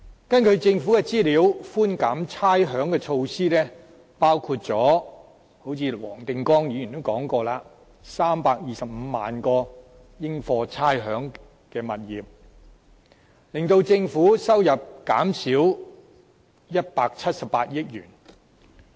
根據政府的資料，寬減差餉的措施——正如黃定光議員也提到——涵蓋325萬個應課差餉的物業，令政府收入減少178億元。